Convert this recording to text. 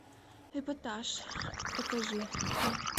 эпатаж покажи